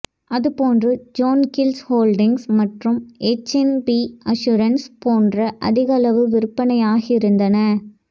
அதுபோன்று John Keells Holdings மற்றும் HNB Assurance போன்றன அதிகளவு விற்பனையாகியிருந்தன